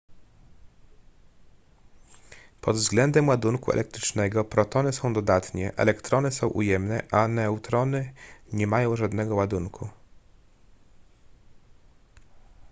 pod względem ładunku elektrycznego protony są dodatnie elektrony są ujemne a neutrony nie mają żadnego ładunku